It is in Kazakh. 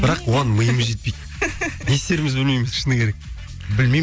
бірақ оған миымыз жетпейді не істерімізді білмейміз шыны керек білмеймін